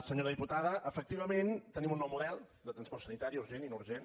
senyora diputada efectivament tenim un nou model de transport sanitari urgent i no urgent